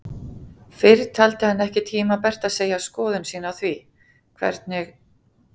Fyrr taldi hann ekki tímabært að segja skoðun sína á því, hvernig